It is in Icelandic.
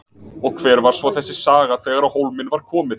Og hver var svo þessi saga þegar á hólminn var komið?